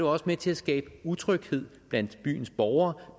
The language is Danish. også med til at skabe utryghed blandt byens borgere